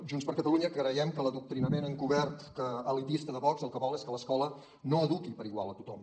junts per catalunya creiem que l’adoctrinament encobert elitista de vox el que vol és que l’escola no eduqui per igual a tothom